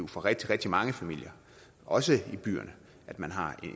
for rigtig rigtig mange familier også i byerne at man har